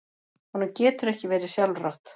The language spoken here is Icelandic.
Honum getur ekki verið sjálfrátt.